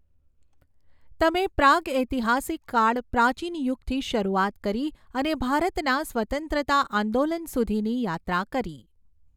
તમે પ્રાગૈતિહાસિક કાળ પ્રાચીન યુગથી શરૂઆત કરી અને ભારતના સ્વતંત્રતા આંદોલન સુધીની યાત્રા કરી.